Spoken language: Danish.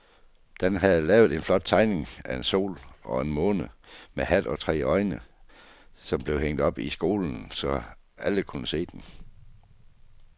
Dan havde lavet en flot tegning af en sol og en måne med hat og tre øjne, som blev hængt op i skolen, så alle kunne se den.